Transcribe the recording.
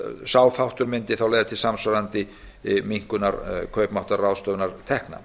sá þáttur mundi þá leiða til samsvarandi minnkunar kaupmáttar ráðstöfunartekna